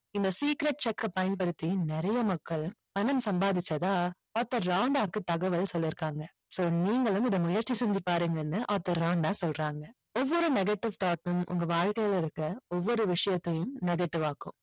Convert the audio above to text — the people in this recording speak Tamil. இந்த secret cheque அ பயன்படுத்தி நிறைய மக்கள் பணம் சம்பாதிச்சதா ஆர்தர் ராண்டாவுக்கு தகவல் சொல்லிருக்காங்க so நீங்களும் இதை முயற்சி செஞ்சி பாருங்கன்னு ஆர்தர் ராண்டா சொல்றாங்க ஒவ்வொரு negative thought உம் உங்க வாழ்கையில இருக்குற ஒவ்வொரு விஷயத்தையும் negative ஆக்கும்